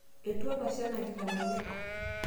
etua olashe enakita kule